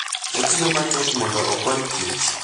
Otiyo matek mondo okony Kich.